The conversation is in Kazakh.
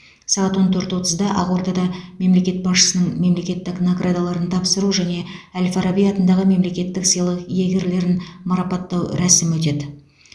сағат он төрт отызда ақордада мемлекет басшысының мемлекеттік наградаларын тапсыру және әл фараби атындағы мемлекеттік сыйлық иегерлерін марапаттау рәсімі өтеді